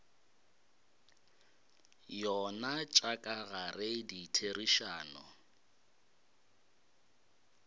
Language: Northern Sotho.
yona tša ka gare ditherišano